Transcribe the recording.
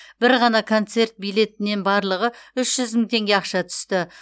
бір ғана концерт билетінен барлығы үш жүз мың теңге ақша түсті